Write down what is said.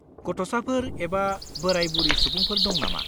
गथ'साफोर एबा बोराय-बुरि सुबुंफोर दं नामा?